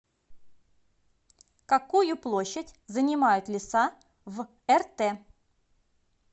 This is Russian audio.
какую площадь занимают леса в рт